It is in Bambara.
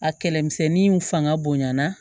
A kɛlɛmisɛnninw fanga bonyana